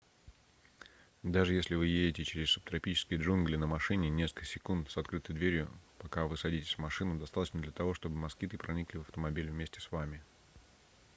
даже если вы едете через субтропические джунгли на машине несколько секунд с открытой дверью пока вы садитесь в машину достаточно для того чтобы москиты проникли в автомобиль вместе с вами